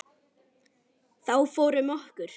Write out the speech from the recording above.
Þá fór um okkur.